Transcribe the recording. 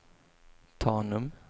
Tanum